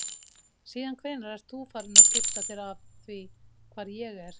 Síðan hvenær ert þú farinn að skipta þér af því hvar ég er?